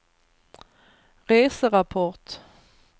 reserapport